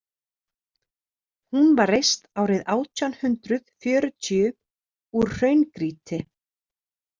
Hún var reist árið átján hundrað fjörutíu úr hraungrýti.